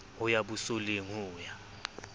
ho ya bosoleng ho ya